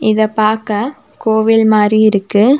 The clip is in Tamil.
இத பாக்க கோவில் மாரி இருக்கு.